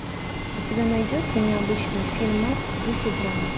у тебя найдется необычный фильмас в духе драмы